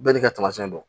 Bɛɛ n'i ka tamasiyɛn dɔn